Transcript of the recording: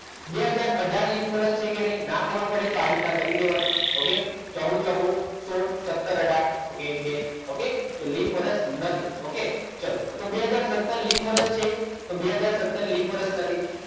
બે હાજર અઢાર ની લીપ વર્ષ છે કે નહીં ના ખબર પડે તો આ રીતે કરી દેવાનું okay ચોગુ ચોગુ સોળ સત્તર ઓકે બે તો લીપ વર્ષ નથી okay ચલો બે હાજર સત્તર લીપ વર્ષ છે તો બે હાજર સત્તર લિપ વર્ષ નથી.